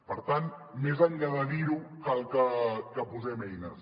per tant més enllà de dir ho cal que hi posem eines